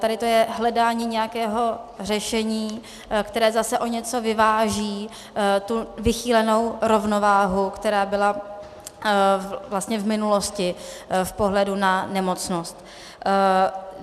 Tady to je hledání nějakého řešení, které zase o něco vyváží tu vychýlenou rovnováhu, která byla vlastně v minulosti v pohledu na nemocnost.